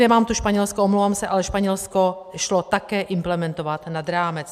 Nemám tu Španělsko, omlouvám se, ale Španělsko šlo také implementovat nad rámec.